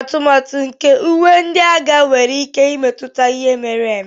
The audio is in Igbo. atụmatụ nke uwe ndị agha nwere ike imetụta akụkọ ihe mere eme